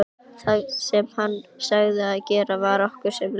Það sem hann sagði og gerði var okkur sem lög.